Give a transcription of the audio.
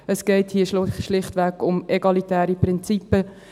Es geht hier schlichtweg um egalitäre Prinzipien.